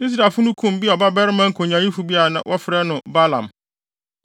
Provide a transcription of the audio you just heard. Israelfo no kum Beor babarima nkonyaayifo bi a na wɔfrɛ no Balaam.